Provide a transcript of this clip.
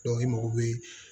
i mago bɛ